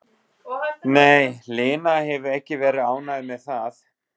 Nei, Lena hefur ekki verið ánægð með það.